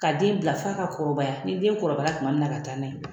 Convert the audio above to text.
Ka den bila fo a ka kɔrɔbaya ni den kɔrɔbayara tuma min na ka taa n'a ye